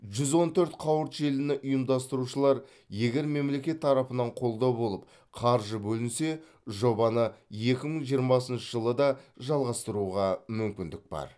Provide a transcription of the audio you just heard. жүз он төрт қауырт желіні ұйымдастырушылар егер мемлекет тарапынан қолдау болып қаржы бөлінсе жобаны екі мың жиырмасыншы жылы да жалғастыруға мүмкіндік бар